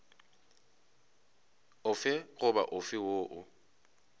ofe goba ofe woo o